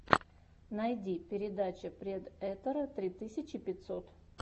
найди передача предэтора три тысячи пятьсот